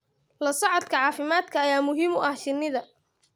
La socodka caafimaadka ayaa muhiim u ah shinnida.